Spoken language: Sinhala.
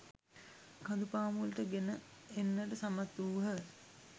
කඳු පාමුලට ගෙන එන්නට සමත් වූහ.